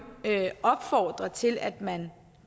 opfordre til at man